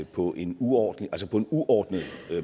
på en uordnet uordnet